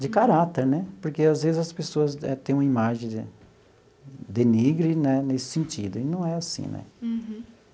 de caráter né, porque às vezes as pessoas têm uma imagem de denigre né nesse sentido, e não é assim né.